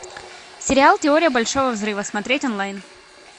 сериал теория большого взрыва смотреть онлайн